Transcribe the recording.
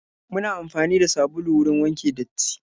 Muna amfani da sabulu wurin wanke datti.